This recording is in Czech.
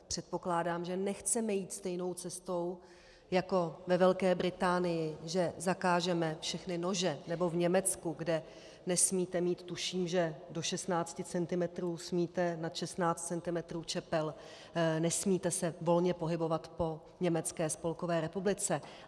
Předpokládám, že nechceme jít stejnou cestou jako ve Velké Británii, že zakážeme všechny nože, nebo v Německu, kde nesmíte mít, tuším, že do 16 cm smíte, nad 16 cm čepel nesmíte se volně pohybovat po Německé spolkové republice.